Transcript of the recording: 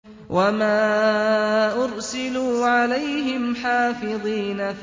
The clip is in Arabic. وَمَا أُرْسِلُوا عَلَيْهِمْ حَافِظِينَ